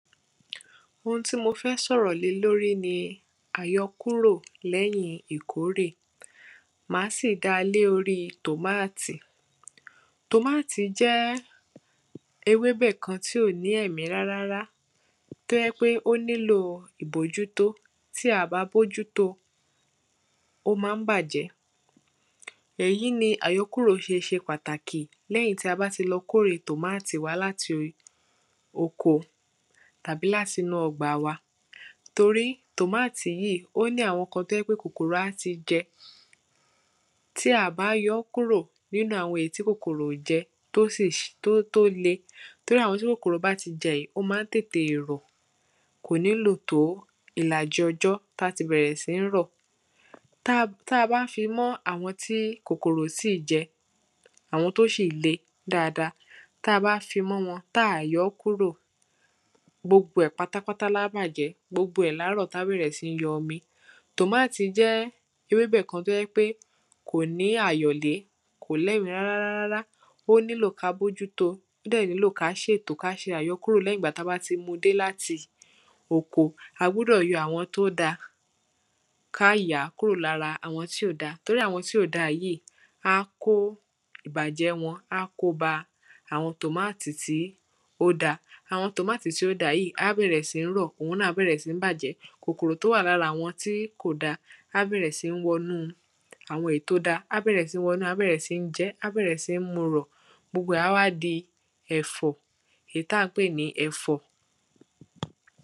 Oun tí mo fẹ́ sọ̀rọ̀ lé lórí ni àyọkúrò lẹ́yìn ìkórè Ma á sì dá lé orí tomatoe Tomatoe jẹ́ ewébẹ̀ kan tí ò ní ẹ̀mí rárárá tí ó jẹ́ ń pé ó nílò ìbójútó Ti a à bá bójúto ó ma ń bàjẹ́ Èyí ni àyọkúrò ṣe ṣe pàtàkì lẹ́yìn tí a bá ti lọ kó èrè tomatoe wa láti oko àbí láti inú ọgbà wa Tórí tomatoe yìí ó ní àwọn tí ó n jẹ́ n pé kòkòrò á ti jẹ Tí a à bá yọ kúrò nínú àwọn èyí tí kòkòrò ò jẹ tí ó sì tí ó le torí àwọn èyí tí kòkòrò bá ti jẹ yìí ó ma ń tètè rọ̀ Kò ní lò tó ìlàjì ọjọ́ tí á ti bẹ̀rẹ̀ sí ń rọ̀ Tí a bá fi mọ́ àwọn tí kòkòrò ò tíì jẹ àwọn tí ó ṣì le dáadáa tí a bá fi mọ́ wọn tí a à yọ́ kúrò gbogbo ẹ̀ pátápátá ni á bàjẹ̀ Gbogbo ẹ ni á rọ̀ tí á bẹ̀rẹ̀ sí ń yọ omi Tomatoe jẹ́ ewébẹ̀ tí ó jẹ́ ń pé kò ní àyọ̀lé Kò ní ẹ̀mí rárá rárá rárá Ó nílò kí a bójútó ó dẹ̀ nílò kí á ṣètò kí a ṣe àyọkúrò lẹ́yìn ìgbà tí a bá ti mu dé láti oko A gbúdọ̀ yọ àwọn tí ó da kí a yà á kúrò lára àwọn tí ò da tori àwọn tí ò da yìí á kó ìbàjẹ́ wọn a ko bá àwọn tomatoe tí ó da Àwọn tomatoe tí ó da yìí á bẹ̀rẹ̀ sí ń rọ̀ Oun náà á bẹ̀rẹ̀ sí ń bàjẹ́ Kòkòrò tí ó wà lára àwọn tí kò da á bẹ̀rẹ̀ sí ń wọnú àwọn èyí tí ó da A bẹ̀rẹ̀ sí ń wọnú ẹ̀ A bẹ̀rẹ̀ sí ń jẹ ẹ́ A bẹ̀rẹ̀ sí ń mu rọ̀ Gbogbo ẹ̀ á wá di ẹ̀fọ̀ èyí tí à ń pè ní ẹ̀fọ̀